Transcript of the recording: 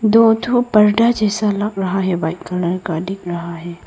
दो ठो पर्दा जैसा लग रहा है व्हाइट कलर का दिख रहा है।